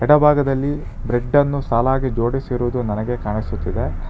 ಎಡಭಾಗದಲ್ಲಿ ಬ್ರೆಡ್ಡನ್ನು ಸಾಲಾಗಿ ಜೋಡಿಸಿರುವುದು ನನಗೆ ಕಾಣಿಸುತ್ತಿದೆ.